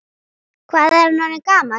Hvað er hann orðinn gamall?